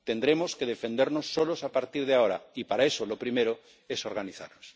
Tendremos que defendernos solos a partir de ahora y, para eso, lo primero es organizarnos.